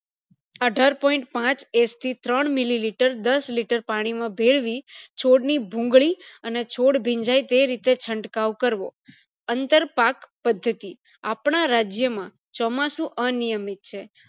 અઠાર point પાંચ sg ત્રણ milliliter દસ liter પાણી માં ભેળવી છોડ ની ભૂંગળી અને છોડ ભીંજાય તે રીતે ચળકાવ કરવો અંતર પાક પદ્ધતિ આપણા રાજ્ય માં ચોમાસું અનિયમિત છે